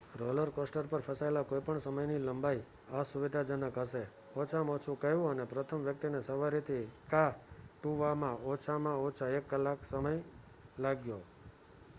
roller coaster પર ફસાયેલા કોઈપણ સમયની લંબાઈ અસુવિધાજનક હશે ઓછામાં ઓછું કહેવું અને પ્રથમ વ્યક્તિને સવારીથી કા toવામાં ઓછામાં ઓછો એક કલાકનો સમય લાગ્યો